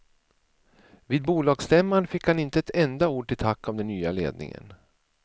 Vid bolagsstämman fick han inte ett enda ord till tack av den nya ledningen.